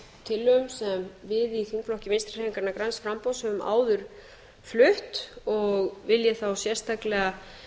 tillögu sem við í þingflokki vinstri hreyfingarinnar græns framboðs höfum áður flutt og vil ég þá sérstaklega